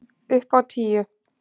Upp á tíu!